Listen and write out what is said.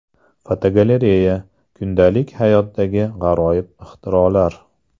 Fotogalereya: Kundalik hayotdagi g‘aroyib ixtirolar.